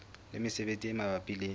le mesebetsi e mabapi le